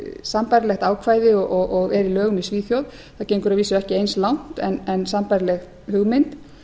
sambærilegt ákvæði og er í lögum í svíþjóð það gengur að vísu ekki eins langt en sambærileg hugmynd